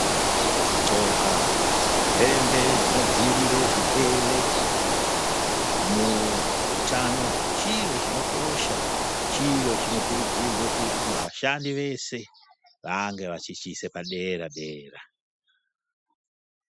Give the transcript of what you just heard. Kudxoka hembe dzinodziirire zvirwere muutano chiro chinokosha chiro chinokurudzirwe kuti vashandi vese vange vechichiise padera dera.